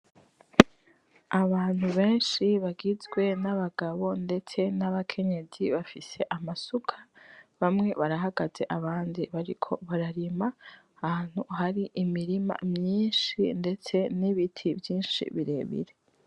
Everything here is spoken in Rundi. Abantu benshi bagizwe n'abagabo ndetse n'abakenyezi bafise amasuka ; bamwe barahagaze , abandi bariko bararima , ahantu hari imirima myinshi ndetse n'ibiti vyinshi birebire.